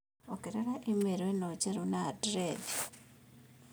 ongerera i-mīrū ĩno njerũ na andirethi